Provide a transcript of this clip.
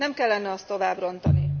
Nem kellene azt tovább rontani.